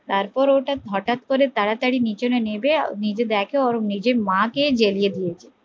তারপর ওটা হটাৎ করে তাড়াতাড়ি নিচনে নেমে নিজে দেখে নিজের মা কে জেলিয়ে দিয়েছে